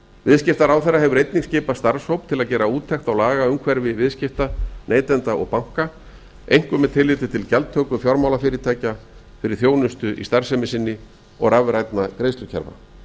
viðskiptaráðherra hefur einnig skipað starfshóp til að gera úttekt á lagaumhverfi viðskipta neytenda og banka einkum með tilliti til gjaldtöku fjármálafyrirtækja fyrir þjónusta í starfsemi sinni og rafrænna greiðslukerfa